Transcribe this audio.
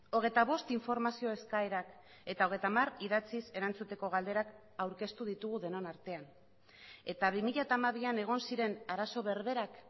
hogeita bost informazio eskaerak eta hogeita hamar idatziz erantzuteko galderak aurkeztu ditugu denon artean eta bi mila hamabian egon ziren arazo berberak